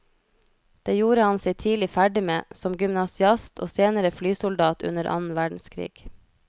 Det gjorde han seg tidlig ferdig med, som gymnasiast og senere flysoldat under annen verdenskrig.